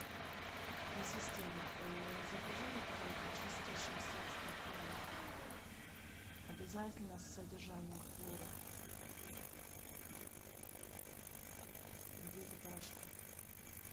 ассистент закажи мне пожалуйста чистящее средство комет обязательно с содержанием хлора в виде порошка